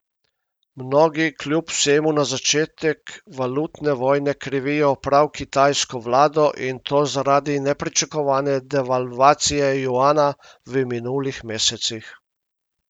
Mnogi kljub vsemu za začetek valutne vojne krivijo prav kitajsko vlado, in to zaradi nepričakovane devalvacije juana v minulih mesecih.